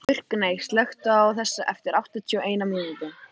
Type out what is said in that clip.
Burkney, slökktu á þessu eftir áttatíu og eina mínútur.